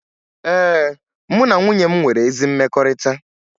Ee, mụ na nwunye m nwere ezi mmekọrịta